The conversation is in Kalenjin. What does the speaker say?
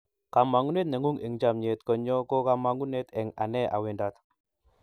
kamangunet nengung eng chamiet nyo ko kamangunet eng ane a wendat